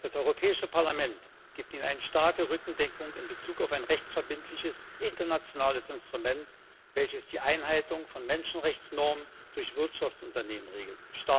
Das Europäische Parlament gibt Ihnen eine starke Rückendeckung in Bezug auf ein rechtsverbindliches internationales Instrument, welches die Einhaltung von Menschenrechtsnormen durch Wirtschaftsunternehmen regelt.